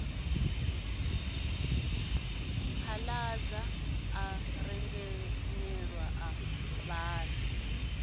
phaḓaladza a rengenyela a vhaḓa